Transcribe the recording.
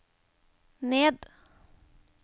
ned